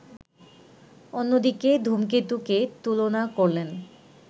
অন্যদিকে ‘ধূমকেতু’কে তুলনা করলেন